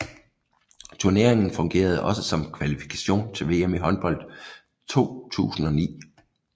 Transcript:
Turneringen fungerede også som kvalifikation til VM i håndbold 2009